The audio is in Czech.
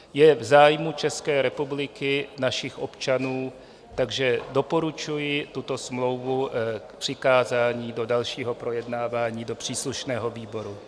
Je v zájmu České republiky, našich občanů, takže doporučuji tuto smlouvu k přikázání do dalšího projednávání do příslušného výboru.